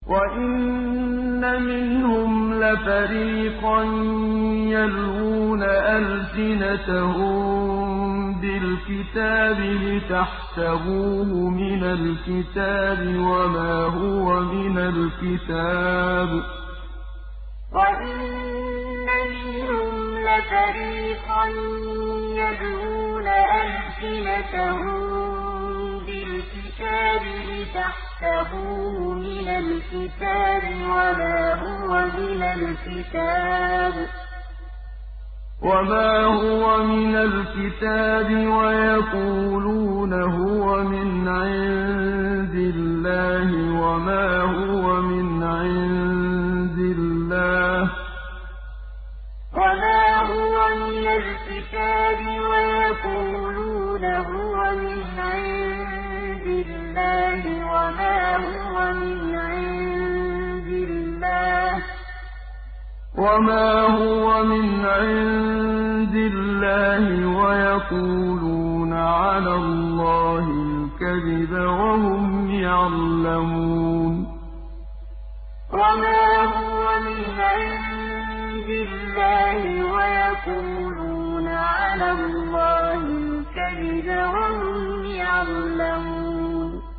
وَإِنَّ مِنْهُمْ لَفَرِيقًا يَلْوُونَ أَلْسِنَتَهُم بِالْكِتَابِ لِتَحْسَبُوهُ مِنَ الْكِتَابِ وَمَا هُوَ مِنَ الْكِتَابِ وَيَقُولُونَ هُوَ مِنْ عِندِ اللَّهِ وَمَا هُوَ مِنْ عِندِ اللَّهِ وَيَقُولُونَ عَلَى اللَّهِ الْكَذِبَ وَهُمْ يَعْلَمُونَ وَإِنَّ مِنْهُمْ لَفَرِيقًا يَلْوُونَ أَلْسِنَتَهُم بِالْكِتَابِ لِتَحْسَبُوهُ مِنَ الْكِتَابِ وَمَا هُوَ مِنَ الْكِتَابِ وَيَقُولُونَ هُوَ مِنْ عِندِ اللَّهِ وَمَا هُوَ مِنْ عِندِ اللَّهِ وَيَقُولُونَ عَلَى اللَّهِ الْكَذِبَ وَهُمْ يَعْلَمُونَ